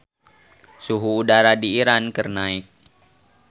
Suhu udara di Iran keur naek